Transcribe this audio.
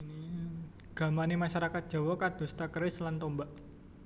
Gamané masyarakat Jawi kadosta keris lan tombak